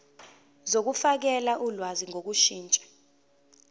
zokufakela ulwazi ngokushintsha